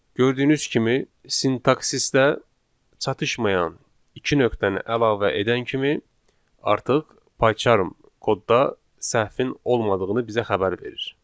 Gördüyünüz kimi sintaksisdə çatışmayan iki nöqtəni əlavə edən kimi artıq payçarm kodda səhvin olmadığını bizə xəbər verir.